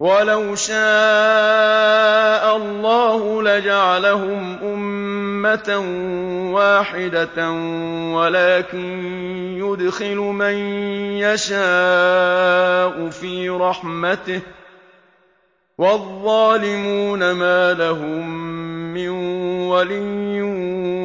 وَلَوْ شَاءَ اللَّهُ لَجَعَلَهُمْ أُمَّةً وَاحِدَةً وَلَٰكِن يُدْخِلُ مَن يَشَاءُ فِي رَحْمَتِهِ ۚ وَالظَّالِمُونَ مَا لَهُم مِّن وَلِيٍّ